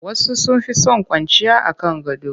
Wasu sun fi son kwanciya a kan gado